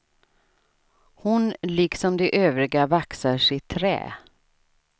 Hon liksom de övriga vaxar sitt trä.